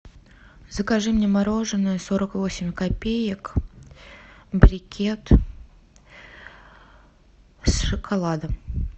закажи мне мороженое сорок восемь копеек брикет с шоколадом